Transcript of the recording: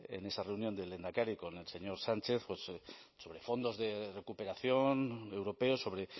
en esa reunión del lehendakari con el señor sánchez pues sobre fondos de recuperación europeo sobre